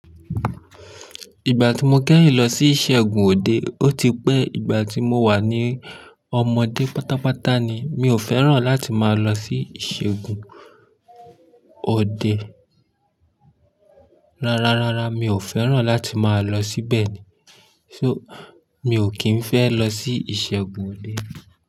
Ìgbà tí mo kẹ́yìn lọ sí ìṣẹ́gun òde, ó ti pẹ́ ìgbà tí mo wà ní ọmọdé pátápátá ni. Mi ò fẹ́ràn láti máa lọ sí ìṣẹ́gun òde. Rárá, rárá, mi ò fẹ́ràn láti máa lọ síbẹ̀ ni. So, mi ò kí ń fẹ́ lọ sí ìṣẹ́gun òde.